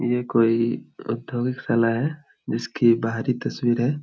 ये कोई औद्योगिक शाला है जिसकी बाहरी तस्वीर है।